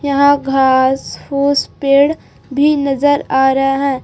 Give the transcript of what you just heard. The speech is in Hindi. यहाँ घास फूस पेड़ भी नजर आ रहा है।